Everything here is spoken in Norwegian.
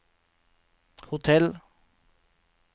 hotell